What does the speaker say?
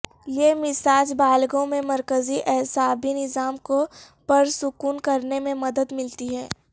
یہ مساج بالغوں میں مرکزی اعصابی نظام کو پرسکون کرنے میں مدد ملتی ہے